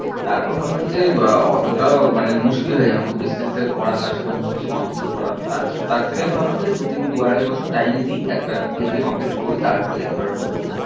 তারপরে ভাবলাম যে অতোটাও মানে মুশকিল হয়ে যাবে খুব distance থেকে করা তার সাথে অন্য কিছু continue করা তার তার থেকে আমি ভাবলাম যে দু তিন, দু আড়াই বছর time দি একটা degree complete করি তারপরেই একেবারে ঢুকবো।